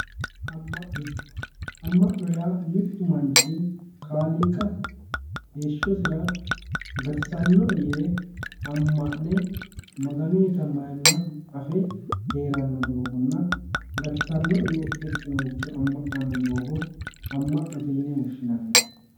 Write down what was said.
Ama'no, ama'no yaa mitu manchi kaaliiqa heeshshosira gatisanoe yee ama'ne Maganutta mayimasi afe heerano doogonna gatisanoe yee hexxanoricho ama'nano doogo ama'note yine woshshinanni